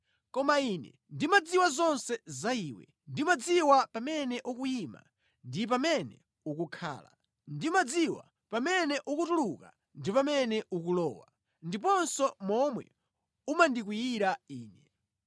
“Koma Ine ndimadziwa zonse za iwe; ndimadziwa pamene ukuyima ndi pamene ukukhala; ndimadziwa pamene ukutuluka ndi pamene ukulowa, ndiponso momwe umandikwiyira Ine.